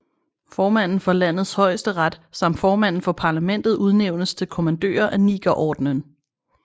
Formanden for landets højesteret samt formanden for parlamentet udnævnes til kommandører af Nigerordenen